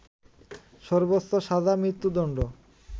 সর্বোচ্চ সাজা মৃত্যুদণ্ড